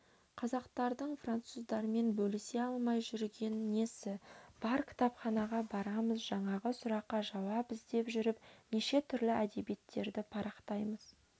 қазақтардың француздармен бөлісе алмай жүрген несі бар кітапханаға барамыз жаңағы сұраққа жауап іздеп жүріп неше түрлі әдебиттерді парақтаймыз